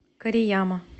корияма